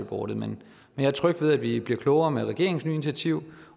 boardet men jeg er tryg ved at vi bliver klogere med regeringens nye initiativ